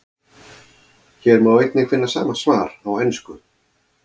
Hér má einnig finna sama svar á ensku.